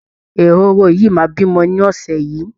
Ehoro yìí máa bímọ nínú ọ̀sẹ̀ yìí